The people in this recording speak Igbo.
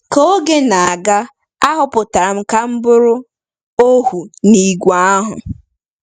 Ka oge na-aga, a họpụtara m ka m bụrụ ohu n'ìgwè ahụ.